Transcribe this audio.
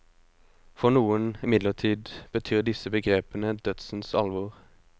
For noen, imidlertid, betyr disse begrepene dødsens alvor.